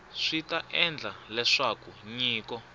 swi ta endla leswaku nyiko